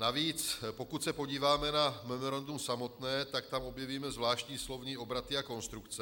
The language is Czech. Navíc pokud se podíváme na memorandum samotné, tak tam objevíme zvláštní slovní obraty a konstrukce.